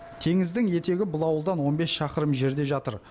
теңіздің етегі бұл ауылдан он бес шақырым жерде жатыр